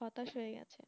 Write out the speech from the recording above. হতাশ হয়ে গেছে